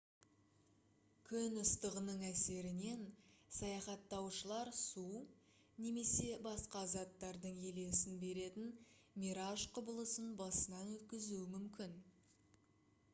күн ыстығының әсерінен саяхаттаушылар су немесе басқа заттардың елесін беретін мираж құбылысын басынан өткізуі мүмкін